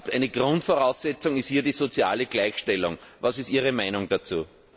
Eine Grundvoraussetzung ist hier die soziale Gleichstellung. Wie ist Ihre Meinung dazu?